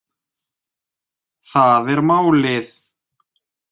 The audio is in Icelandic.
Það er málið